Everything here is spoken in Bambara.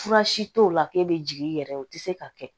Fura si t'o la k'e bɛ jigin i yɛrɛ ye o tɛ se ka kɛ